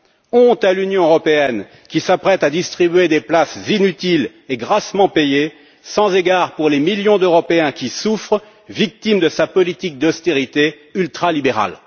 Honte à l'Union européenne qui s'apprête à distribuer des places inutiles et grassement payées, sans égard pour les millions d'Européens qui souffrent, victimes de sa politique d'austérité ultralibérale!